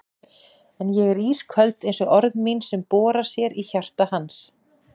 En ég er ísköld einsog orð mín sem bora sér í hjarta hans.